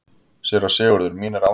SÉRA SIGURÐUR: Mín er ánægjan.